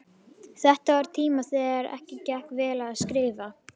Þetta var á tíma þegar ekki gekk of vel að skrifa.